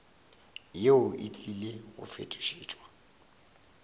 yeo e tlile go fetošetšwa